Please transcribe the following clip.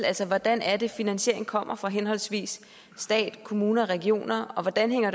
altså hvordan er det finansieringen kommer fra henholdsvis stat kommuner og regioner og hvordan hænger